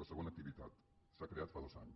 la segona activitat s’ha creat fa dos anys